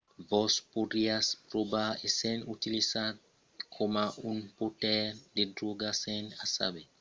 vos podriatz trobar essent utilizat coma un portaire de dròga sens o saber çò que vos menarà dins una bèla quantitat de problèmas